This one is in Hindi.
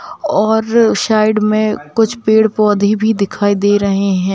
और साइड में कुछ पेड़ पौधे भी दिखाई दे रहे हैं ।